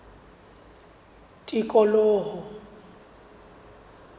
tikoloho